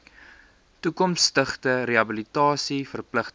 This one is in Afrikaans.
toekomstige rehabilitasie verpligtinge